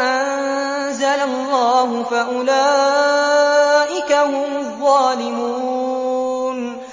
أَنزَلَ اللَّهُ فَأُولَٰئِكَ هُمُ الظَّالِمُونَ